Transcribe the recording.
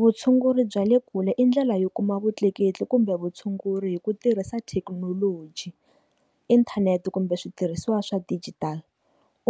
Vutshunguri bya le kule i ndlela yo kuma vutleketli kumbe vutshunguri hi ku tirhisa thekinoloji, inthanete kumbe switirhisiwa swa dijitali